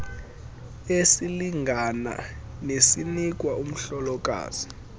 esilingana nesinikwa umhlokazi